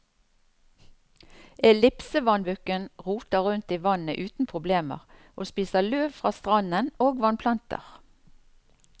Ellipsevannbukken roter rundt i vannet uten problemer, og spiser løv fra stranden og vannplanter.